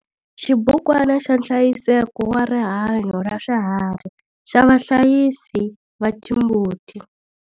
Xibukwana xa nhlayiseko wa rihanyo ra swiharhi xa vahlayisi va timbuti.